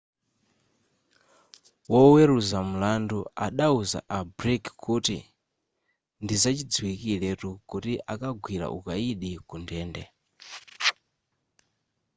woweruza mlandu adauza a blake kuti ndizachidziwikiretu kuti akagwira ukayidi ku ndende